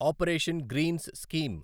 operation greens scheme